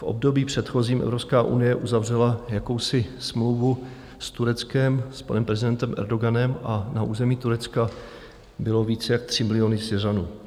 V období předchozím Evropská unie uzavřela jakousi smlouvu s Tureckem, s panem prezidentem Erdoganem, a na území Turecka bylo víc jak 3 miliony Syřanů.